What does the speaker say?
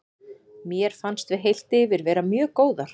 Mér fannst við heilt yfir vera mjög góðar.